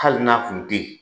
Hali n'a kun teyi.